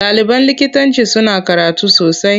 Ɗaliban likitanci suna karatu sosai.